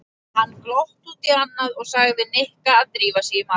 Hann glotti út í annað og sagði Nikka að drífa sig í matinn.